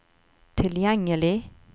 tilgjengelig